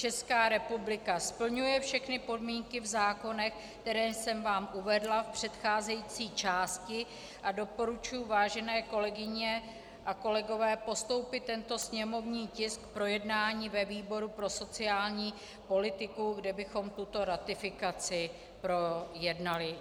Česká republika splňuje všechny podmínky v zákonech, které jsem vám uvedla v předcházející části, a doporučuji, vážené kolegyně a kolegové, postoupit tento sněmovní tisk k projednání ve výboru pro sociální politiku, kde bychom tuto ratifikaci projednali.